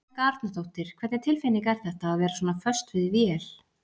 Helga Arnardóttir: Hvernig tilfinning er þetta, að vera svona föst við vél?